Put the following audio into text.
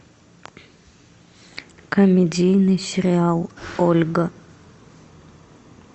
комедийный сериал ольга